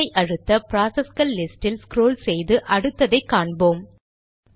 என்டரை அழுத்த ப்ராசஸ்கள் லிஸ்ட் இல் ஸ்க்ரால் செய்து அடுத்ததை காண்போம்